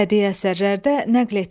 Bədii əsərlərdə nəqletmə.